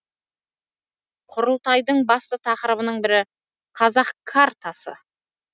құрылтайдың басты тақырыбының бірі қазақ картасы